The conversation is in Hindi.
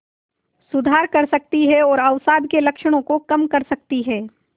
सुधार कर सकती है और अवसाद के लक्षणों को कम कर सकती है